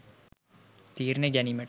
තීරණ ගැනීමට